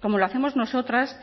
como lo hacemos nosotras